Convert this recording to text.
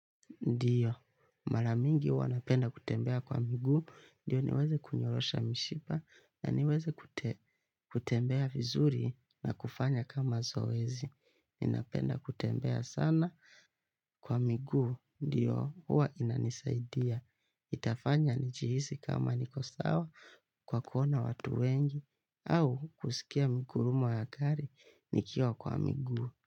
Ndio, maranyingi huwa napenda kutembea kwa migu. Ndio, niweze kunyoosha mishipa na niweze kutembea vizuri na kufanya kama zoezi. Ni napenda kutembea sana kwa migu. Ndio, huwa inanisaidia. Itafanya nijihisi kama nikosawa kwa kuona watu wengi. Au, kusikia miungurumo ya gari nikiwa kwa migu.